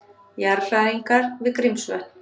Jarðhræringar við Grímsvötn